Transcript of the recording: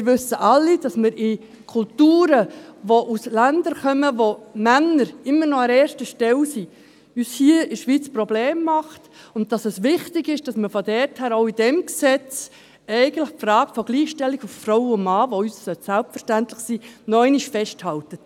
Wir wissen alle, dass uns Kulturen aus Ländern, in denen Männer immer noch an erster Stelle sind, hier in der Schweiz Probleme machen und dass es eigentlich wichtig ist, deshalb auch in diesem Gesetz die Frage der Gleichstellung von Frau und Mann, die für uns selbstverständlich sein sollte, noch einmal festzuhalten.